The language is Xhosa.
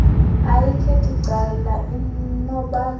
ayikhethi cala inobulali